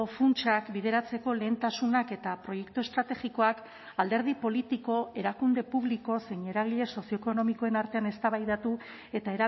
funtsak bideratzeko lehentasunak eta proiektu estrategikoak alderdi politiko erakunde publiko zein eragile sozioekonomikoen artean eztabaidatu eta